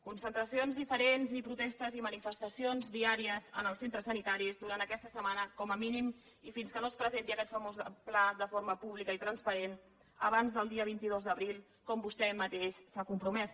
concentracions diferents i protestes i manifestacions diàries en els centres sanitaris durant aquesta setmana com a mínim i fins que no es presenti aquest famós pla de forma pública i transparent abans del dia vint dos d’abril com vostè mateix s’hi ha compromès